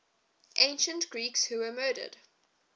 ancient greeks who were murdered